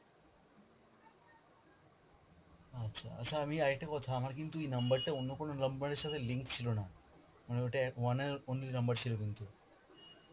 আচ্ছা, আচ্ছা আমি আর একটা কথা আমার কিন্তু এই number টা অন্য কোন number এর সাথে link ছিল না, মানে ওটা one and only number ছিল কিন্তু.